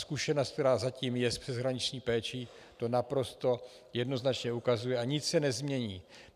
Zkušenost, která zatím je s přeshraniční péčí, to naprosto jednoznačně ukazuje a nic se nezmění.